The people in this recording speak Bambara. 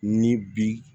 Ni bi